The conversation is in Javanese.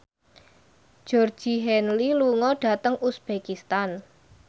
Georgie Henley lunga dhateng uzbekistan